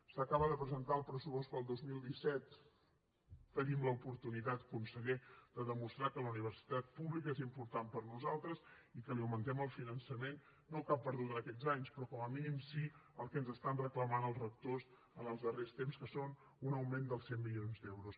s’acaba de presentar el pressupost per al dos mil disset tenim l’oportunitat conseller de demostrar que la universitat pública és important per nosaltres i que li augmentem el finançament no el que ha perdut en aquests anys però com a mínim sí el que ens estan reclamant els rectors en els darrers temps que és un augment de cent milions d’euros